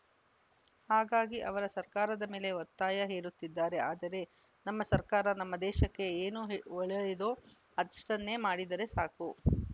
ಹಾಗಾಗಿ ಅವರು ಸರ್ಕಾರದ ಮೇಲೆ ಒತ್ತಾಯ ಹೇರುತ್ತಿದ್ದಾರೆ ಆದರೆ ನಮ್ಮ ಸರ್ಕಾರ ನಮ್ಮ ದೇಶಕ್ಕೆ ಏನು ಹೆ ಒಳ್ಳೆಯದೋ ಅಷ್ಟನ್ನೇ ಮಾಡಿದರೆ ಸಾಕು